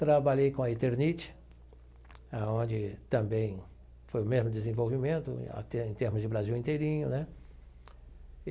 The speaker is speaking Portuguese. Trabalhei com a Eternit, aonde também foi o mesmo desenvolvimento, até em termos de Brasil inteirinho, né?